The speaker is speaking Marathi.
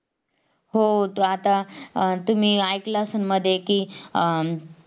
हो तू आता तुम्ही ऐकलं असाल मध्ये कि आह